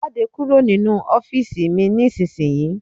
Jáde kúrò nínu ọ́fììisí mí ní isísìnyíí!